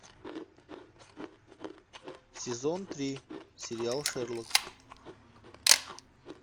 сезон три сериал шерлок